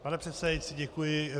Pane předsedající, děkuji.